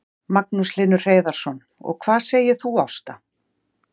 Magnús Hlynur Hreiðarsson: Hvað segir þú Ásta?